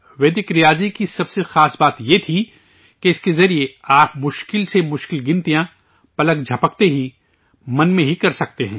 ویدک ریاضی کی سب سے خاص بات یہ تھی کہ اس کے ذریعے آپ مشکل سے مشکل حساب پلک جھپکتے ہی من میں ہی کر سکتے ہیں